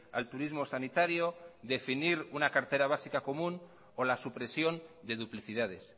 al turismo sanitario definir una cartera básica común o la supresión de duplicidades